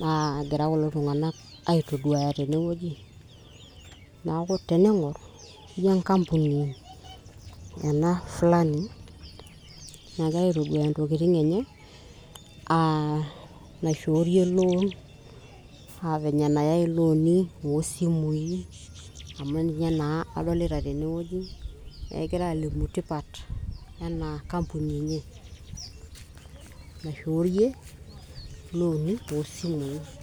naagira kulo tung'anak aitoduaya tenewueji naaku tening'orr injo enkampuni ena flani nagira aitoduaya intokitin enye uh, naishorie loan uh, venye enayai iloni osimui amu ninye naaa adolita tenewueji egirae alimu tipat ena kampuni enye naishoorie iloni osimui.